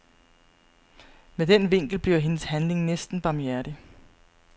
Med den vinkel bliver hendes handling næsten barmhjertig.